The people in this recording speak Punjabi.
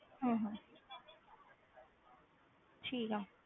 ਹਮ ਹਮ ਠੀਕ ਆ